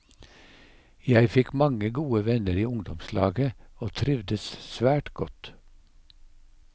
Jeg fikk mange gode venner i ungdomslaget og trivdes svært godt.